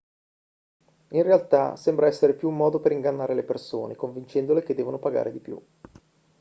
in realtà sembra essere più un modo per ingannare le persone convincendole che devono pagare di più